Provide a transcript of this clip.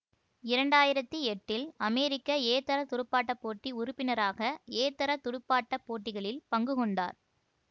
இரண்டு ஆயிரத்தி எட்டில் அமெரிக்க ஏதர துடுப்பாட்ட போட்டி உறுப்பினராக ஏதர துடுப்பாட்ட போட்டிகளில் பங்குகொண்டார்